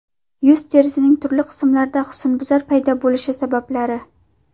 Yuz terisining turli qismlarida husnbuzar paydo bo‘lishi sabablari.